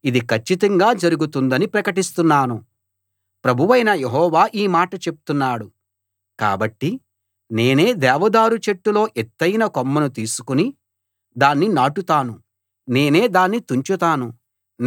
ప్రభువైన యెహోవా ఈ మాట చెప్తున్నాడు కాబట్టి నేనే దేవదారు చెట్టులో ఎత్తయిన కొమ్మను తీసుకుని దాన్ని నాటుతాను నేనే దాన్ని తుంచుతాను నేనే దాన్ని ఎత్తయిన పర్వతం పైన నాటుతాను